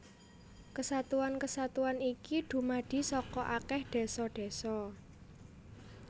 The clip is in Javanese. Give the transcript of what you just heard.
Kesatuan kesatuan iki dumadi saka akèh désa désa